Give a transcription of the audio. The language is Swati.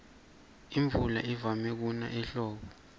imvula ivama kuna ehlobo